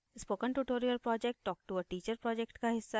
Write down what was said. spoken tutorial project talk to a teacher project का हिस्सा है